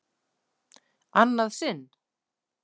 Annað sinn?